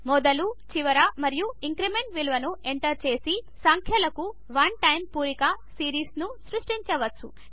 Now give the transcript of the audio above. మొదలు చివర మరియు ఇంక్రిమెంట్ విలువలను ఎంటర్ చేసి సంఖ్యలకు వన్ టైం పూరక సీరీస్ను సృష్టించవచ్చు